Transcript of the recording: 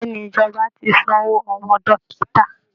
Bẹ́ẹ̀ ni, ìjọba ti san owó àwọn dọ́kítà